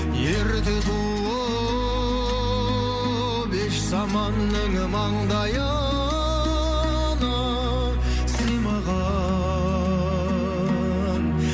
ерте туып еш заманның маңдайына сыймаған